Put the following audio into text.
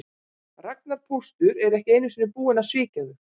Ragnar póstur er ekki einu sinni búinn að svíkja þau